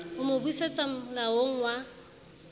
ho mo busetsa moalong wa